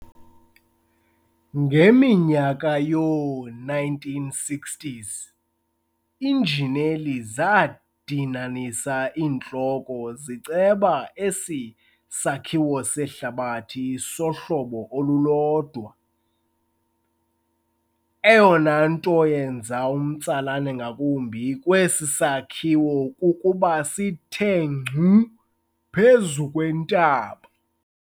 Ngeminyaka yoo-1960s iinjineli zadinanisa iintloko ziceba esi sakhiwo sehlabathi sohlobo olulodwa. Eyona nto yenza umtsalane ngakumbi kwesi sakhiwo kukuba sithe ngcu phezu kwentaba.